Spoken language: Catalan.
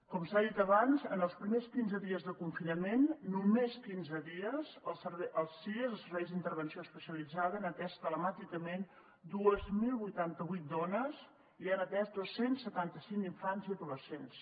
com s’ha dit abans en els primers quinze dies de confinament només quinze dies els sies els serveis d’intervenció especialitzada han atès telemàticament dos mil vuitanta vuit dones i han atès dos cents i setanta cinc infants i adolescents